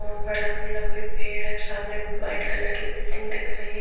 लंबे लंबे पेड़ है सामने वाइट कलर की बिल्डिंग दिख रही है।